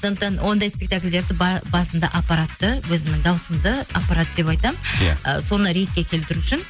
сондықтан ондай спектакльдерді басында аппаратты өзімнің дауысымды аппарат деп айтамын иә соны ретке келтіру үшін